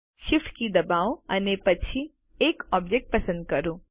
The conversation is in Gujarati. Shift કી દબાવો અને એક પછી એક ઓબ્જેક્ટ પસંદ કરો